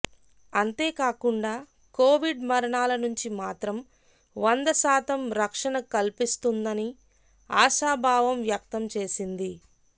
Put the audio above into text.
అంతేకాకుండా కొవిడ్ మరణాల నుంచి మాత్రం వందశాతం రక్షణ కల్పిస్తుందని ఆశాభావం వ్యక్తంచేసింది